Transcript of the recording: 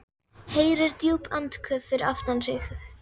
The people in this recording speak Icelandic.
Heyrir djúp andköf fyrir aftan sig.